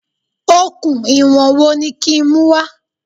Okùn ìwọ̀n wo ni kí n mú wá?